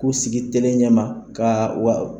K'u sigi ɲɛma ka wa